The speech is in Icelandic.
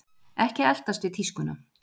Ekki eltast við tískuna